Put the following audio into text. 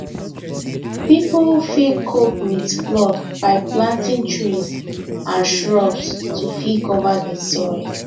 pipo fit cope with flood by planting trees and shrubs to fit cover di soil